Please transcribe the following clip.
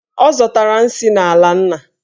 Ọ zọtara nsị n'ala nna.